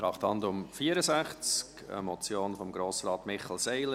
Traktandum 64, eine Motion von Grossrat Michel Seiler: